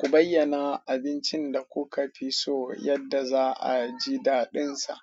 Ku bayyana abincin da kuka fi so yadda za a ji daɗinsa.